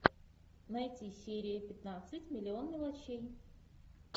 найти серию пятнадцать миллион мелочей